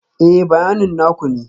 Ee, bayanin na ku ne